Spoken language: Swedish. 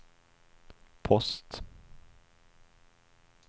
post